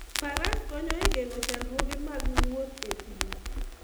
Faras konyo e geng'o chandruoge mag wuoth e thim.